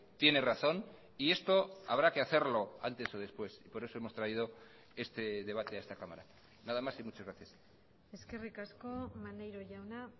tiene razón y esto habrá que hacerlo antes o después por eso hemos traído este debate a esta cámara nada más y muchas gracias eskerrik asko maneiro jauna